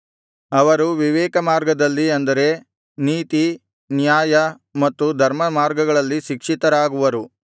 ಅವರು ವಿವೇಕಮಾರ್ಗದಲ್ಲಿ ಅಂದರೆ ನೀತಿ ನ್ಯಾಯ ಮತ್ತು ಧರ್ಮಮಾರ್ಗಗಳಲ್ಲಿ ಶಿಕ್ಷಿತರಾಗುವರು